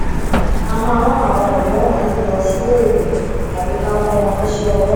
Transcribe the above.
a máa rán àwọn ọdọ wọnyí lọ síléèwé tàbí ká kó wọn níṣẹ owó